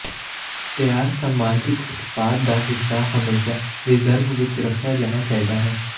ਤਿਆਰ ਸਮਾਜਿਕ ਉਤਪਾਦ ਦਾ ਹਿੱਸਾ ਹਮੇਸ਼ਾਂ ਰਿਜ਼ਰਵ ਵਿੱਚ ਰੱਖਿਆ ਜਾਣਾ ਚਾਹੀਦਾ ਹੈ